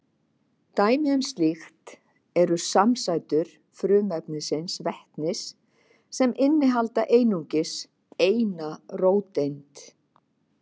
Dæmi um slíkt eru samsætur frumefnisins vetnis sem inniheldur einungis eina róteind.